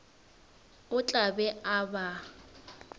o tla be a ba